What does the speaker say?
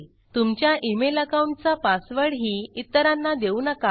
तुमच्या email account चा पासवर्डही इतरांना देऊ नका